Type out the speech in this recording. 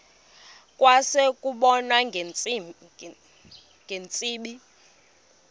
kwase kubonwa ngeentsimbi